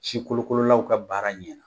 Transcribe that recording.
Si kolokololaw ka baara ɲɛna.